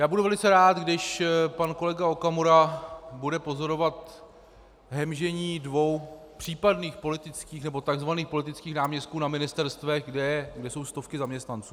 Já budu velice rád, když pan kolega Okamura bude pozorovat hemžení dvou případných politických, nebo tzv. politických náměstků na ministerstvech, kde jsou stovky zaměstnanců.